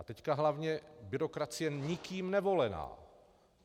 A teď hlavně byrokracie nikým nevolená.